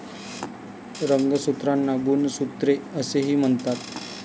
रंगसूत्रांना गुणसूत्रे असेही म्हणतात.